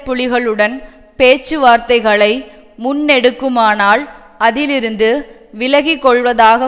புலிகளுடன் பேச்சுவார்த்தைகளை முன்னெடுக்குமானால் அதிலிருந்து விலகிக்கொள்வதாக